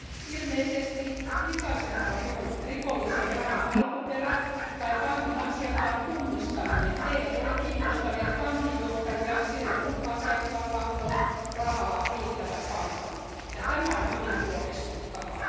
Ilmeisesti likaisenkaan rikollisen rahan alkuperä tai pankin asiakkaan tunnistaminen eivät ole kiinnostaneet pankinjohtajia silloin, kun asiakkaalla on rahaa riittävän paljon, ja tämä on hyvin huolestuttavaa.